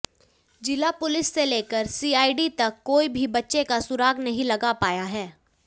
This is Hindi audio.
जिला पुलिस से लेकर सीआईडी तक कोई भी बच्चे का सुराग नहीं लगा पाया है